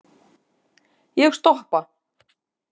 Ég stoppa.